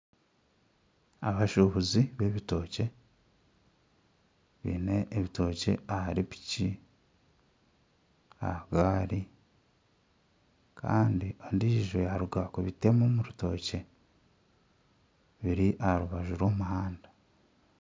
Abashubuzi b'ebitookye baine ebitookye ahari piki aha gaari kandi ondiijo yaaruga kubitema omu rutookye biri aha rubaju rw'omuhanda